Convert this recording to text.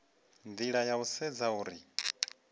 nila ya u sedza uri